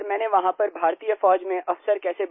sir मैंने वहाँ पर भारतीय फौज में अफसर कैसे